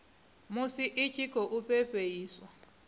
musi i tshi khou fhefheiswa